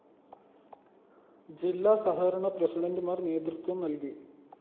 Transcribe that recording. ജില്ലാ സഹകരണ പ്രസിഡന്റുമാര്‍ നേതൃത്വം നല്‍കി